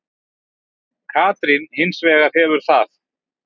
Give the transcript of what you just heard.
Katrín hins vegar hefur það.